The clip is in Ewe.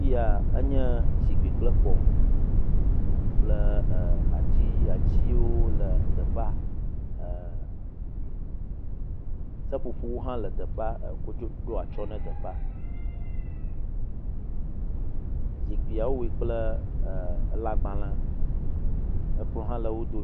Afia, enye zikpui kple kplɔ̃ kple e atsi, atiwo le teƒea err seƒoƒowo hã le teƒea eko dzo ɖo atyɔ̃ ne teƒea. Zikpuia wowoe kple er lãgbalẽ. Kplɔ̃ hã le wo dome.